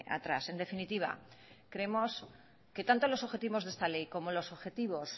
atrás en definitiva creemos que tanto los objetivos de esta ley como los objetivos